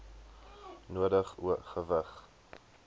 nodig o gewig